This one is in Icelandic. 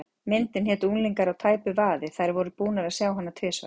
Myndin hét Unglingar á tæpu vaði, þær voru búnar að sjá hana tvisvar.